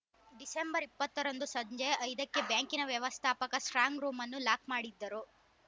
December ಇಪ್ಪತ್ತ ರಂದು ಸಂಜೆ ಐದಕ್ಕೆ ಬ್ಯಾಂಕಿನ ವ್ಯವಸ್ಥಾಪಕ ಸ್ಟ್ರಾಂಗ್‌ ರೂಮ್‌ನ್ನು ಲಾಕ್‌ ಮಾಡಿದ್ದರು